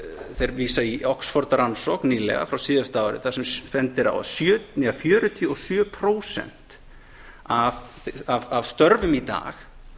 þeir vísa í oxford rannsókn nýlega frá síðasta ári þar sem bent er á að fjörutíu og sjö prósent af störfum í dag